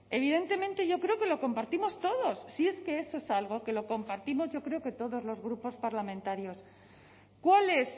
evidentemente yo creo que lo compartimos todos si es que eso es algo que lo compartimos yo creo que todos los grupos parlamentarios cuál es